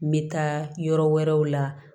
N bɛ taa yɔrɔ wɛrɛw la